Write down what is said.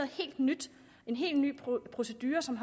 helt nyt en helt ny procedure som